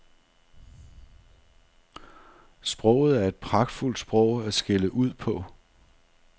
Sproget er et pragtfuldt sprog at skælde ud på.